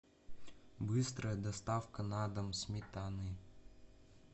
быстрая доставка на дом сметаны